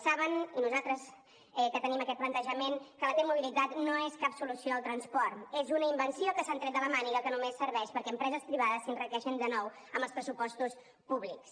saben i nosaltres que tenim aquest plantejament que la t mobilitat no és cap solució al transport és una invenció que s’han tret de la màniga que només serveix perquè empreses privades s’enriqueixin de nou amb els pressupostos públics